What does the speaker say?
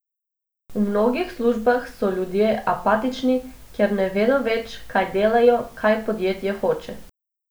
V mnogih službah so ljudje apatični, ker ne vedo več, kaj delajo, kaj podjetje hoče.